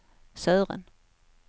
Sören